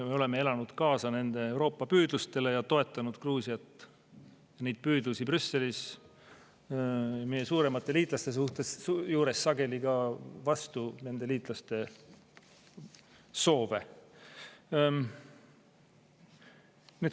Me oleme elanud kaasa nende Euroopa-püüdlustele ja toetanud Gruusia püüdlusi Brüsselis meie suuremate liitlaste juures, sageli ka vastu nende liitlaste soove.